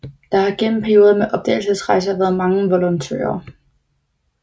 Der har gennem perioder med opdagelsesrejser været mange volontører